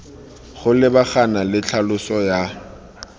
go lebagana le tlhaloso ya